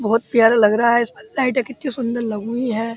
बोहोत प्यारा लग रहा है। इसमें लाइटे कितनी सुंदर लगीं हुई हैं।